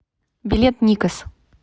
билет никас